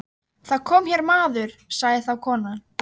Þú skalt fara að koma þér, sagði hann.